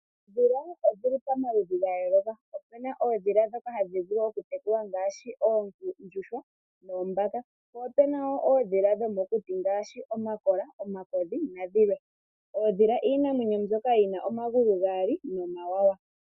Oondhila odhi li pamaludhi ga yooloka. Opu na oondhila ndhoka hashi vulu okutekulwa ngaashi oondjuhwa noombaka . Opu na woo oondhila dho mokuti ngaashi omakola, omakodhi nadhilwe . Oondhila iinamwenyo mbyoka yi na omagulu gaali nomawawa.